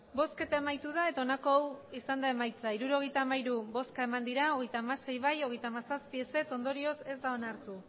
emandako botoak hirurogeita hamairu bai hogeita hamasei ez hogeita hamazazpi ondorioz